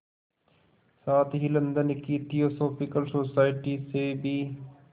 साथ ही लंदन की थियोसॉफिकल सोसाइटी से भी